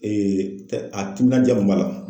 a timinandiya kun b'a la